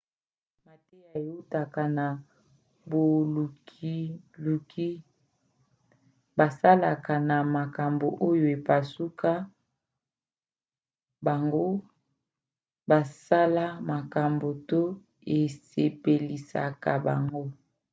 mateya eutaka na bolukiluki basalaka na makambo oyo epusaka bango basala makambo to esepelisaka bango